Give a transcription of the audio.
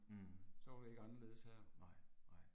Mh. Nej, nej